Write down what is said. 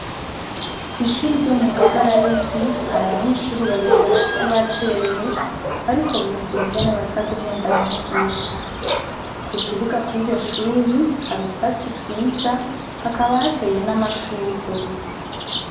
Kw'ishure ryo mu Ngagara y'indwi hari abanyeshure babiri bashitse bacarewe, bariko biyumvira ingene baza guhenda mwigisha. Ku kibuga kw'iryo shure, hari utwatsi twiza hakaba hateye n'amashurwe.